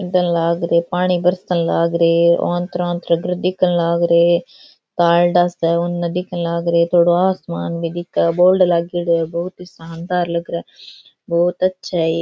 पानी बरसन लाग रे आन्तरा आन्तरा घर दिखन लाग रो कार्ड सा उनने दिखें लाग रे उन आसमान भी दिखे है बोर्ड लागेडो है बहुत ही शानदार लग रहा है बहुत अच्छा है ये।